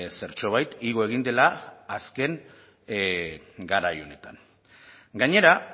zertxobait igo egin dela azken garai honetan gainera